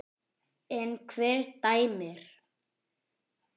En hver dæmir?